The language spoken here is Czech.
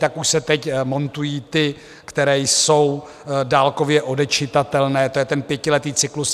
Takže už se teď montují ty, které jsou dálkově odečitatelné, to je ten pětiletý cyklus.